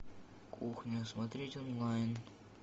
кухня смотреть онлайн